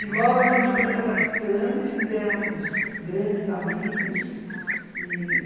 E logo a gente foi se adaptando e fizemos grandes amigos e...